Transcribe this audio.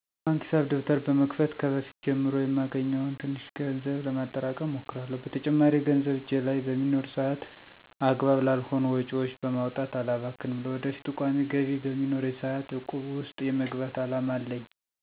የባንክ ሂሳብ ደብተር በመክፈት ከበፊት ጀምሮ የማገኘውን ትንሽ ገንዘብ ለማጠራቀም እሞክራለሁ። በተጨማሪም ገንዘብ እጄ ላይ በሚኖር ሰአት አግባብ ላልሆኑ ወጪዎች በማውጣት አላባክንም። ለወደፊቱ ቋሚ ገቢ በሚኖረኝም ሰአት እቁብ ውስጥ የመግባት አላማ አለኝ።